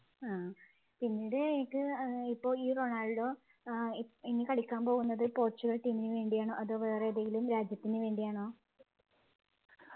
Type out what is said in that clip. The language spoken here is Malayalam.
ആഹ് പിന്നീട് എനിക്ക് ഇപ്പോൾ ഈ റൊണാൾഡോ ഏർ ഇനി കളിക്കാൻ പോകുന്നത് പോർച്ചുഗൽ team നു വേണ്ടിയാണോ അതോ വേറെ ഏതെങ്കിലും രാജ്യത്തിനുവേണ്ടിയാണ്